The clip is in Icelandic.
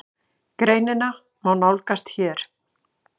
Greinina má nálgast hér.